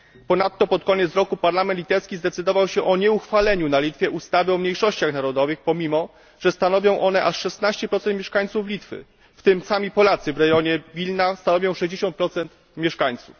Ponadto pod koniec roku parlament litewski zadecydował o nieuchwaleniu na Litwie ustawy o mniejszościach narodowych, pomimo że stanowią one aż 16 mieszkańców Litwy, w tym sami Polacy w rejonie Wilna stanowią 60 mieszkańców.